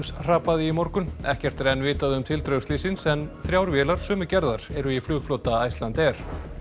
hrapaði í morgun ekkert er enn vitað um tildrög slyssins en þrjár vélar sömu gerðar eru í flugflota Icelandair